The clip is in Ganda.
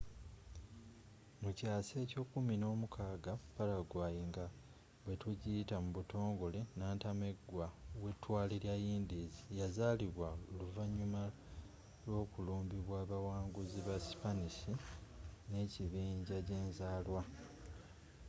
mukyaasa ekye 16 paraguay nga bweyitibwa mu butongole nantamegwa wetwale lya indies” yazalibwa oluvanyuma lw'okulumbibwa abawanguzi ba sipanisi nekibinja jenzalwa